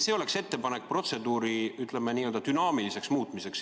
See oleks minu ettepanek Riigikogu juhatusele protseduuri dünaamilisemaks muutmiseks.